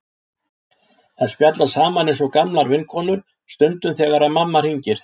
Þær spjalla saman eins og gamlar vinkonur stundum þegar mamma hringir.